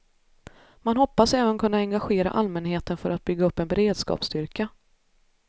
Man hoppas även kunna engagera allmänheten för att bygga upp en beredskapsstyrka.